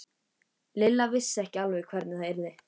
Lilla vissi alveg hvernig það yrði.